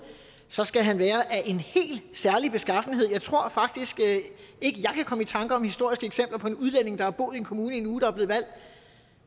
så skal han være af en helt særlig beskaffenhed jeg tror faktisk ikke jeg kan komme i tanker om historiske eksempler på en udlænding der har boet i en kommune i en uge der er blevet valgt